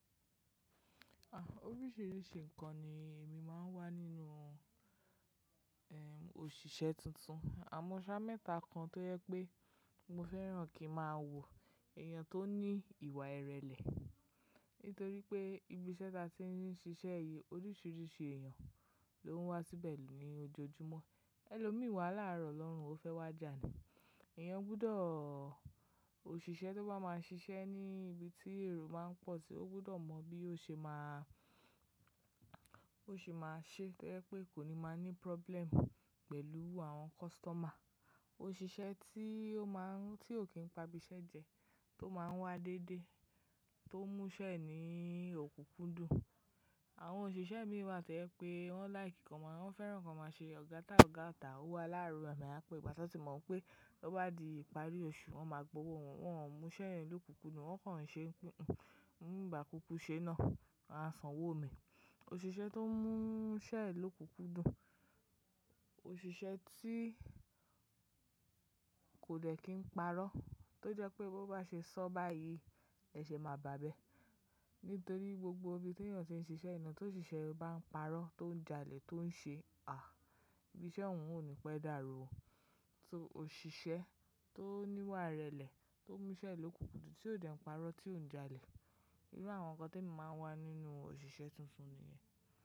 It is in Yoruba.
Oríṣìíríṣìí ǹnkan ni èmi máa ń wá nínú, ẹm, òṣìṣẹ́ tuntun. Àmọ́ ṣá mẹ́ta kan tó jẹ pé mo fẹ́ràn kí máa wo èèyàn tó ní ìwà ìrẹ̀lẹ̀. Nítorí pé ibi iṣẹ́ ta tí ń ṣiṣẹ́ yìí oríṣìíríṣìí èèyàn ló ń wá síbẹ̀ ní ojoojúmọ́. Ẹ̀lọ́ mì wàhalá rọ̀ lọ̀run ó fẹ́ wà jà ní. Ẹ̀eyàn gbudọ̀ òṣìṣẹ́ tó bá máa ṣiṣẹ́ ní ibi tí èrò máa ń pọ̀ ti o gbọ́dọ̀ mọ bí ó ṣe máa, Bó ṣe máa ṣe to je pe kó ni máa ní problem pẹ̀lú àwọn customer. Òṣìṣẹ́ tí ó máa ń, tí ò kí n pa ibi iṣẹ́ jẹ, tó máa ń wá dédé, tó múṣẹ́ re ní òkúkúndùn. Àwọn òṣìṣẹ́ mí wà to jẹ pé wọ́n like kan má, wọ́n fẹ́ràn kan má ṣe ọ̀gáta ọ̀gá o ta. Ówo aláàáru rẹ́ á pé ìgbà tán ti mọ̀ pé tọ́ bá di ìparí oṣù, wọ́n máa gbowó wọ́n, wọ́n ò múṣẹ́ yen òkúkúndùn, wọ́n kan n ṣe, bi ń bà kúkú ṣe náà, won à sàn wò mi. Òṣìṣẹ́ tó ń múṣẹ́ re lokúkúndùn, òṣìṣẹ́ tí kò dẹ̀ kín parọ́, tó jẹ́ pé bó bá ṣe sọ báyìí, ẹ ṣẹ̀ máa bàbẹ́. Nítorí gbogbo ibi tí èèyàn ti ń ṣiṣẹ́ yii naa tó òṣìṣẹ́ bá ń parọ́, tó ń jalè, tó ń ṣe à, ibi iṣẹ́ ọ̀ún ò ní pẹ́ dàrú. Só òṣìṣẹ́ tó níwà ìrẹ̀lẹ̀, tó múṣẹ́ lókúkúndùn, tí ò dẹ̀ ń parọ́, tí ò ń jalè. Iru awọn nǹkan tí emi máa ń wá nínú òṣìṣẹ́ tuntun nìyẹn.